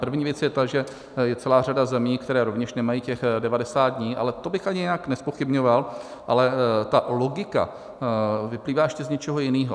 První věc je ta, že je celá řada zemí, které rovněž nemají těch 90 dní, ale to bych ani nijak nezpochybňoval, ale ta logika vyplývá ještě z něčeho jiného.